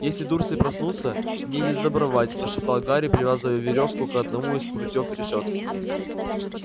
если дурсли проснутся мне несдобровать прошептал гарри привязывая верёвку к одному из прутьёв решётки